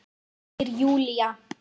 Segir Júlía.